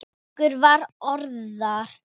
Okkur var orða vant.